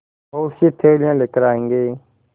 बहुतसी थैलियाँ लेकर आएँगे